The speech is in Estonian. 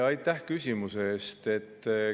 Aitäh küsimuse eest!